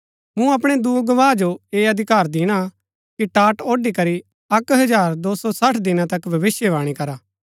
मूँ अपणै दूँ गवाह जो ऐह अधिकार दिणा कि टाट ओढ़ी करी अक्क हजार दो सौं सठ दिना तक भविष्‍यवाणी करा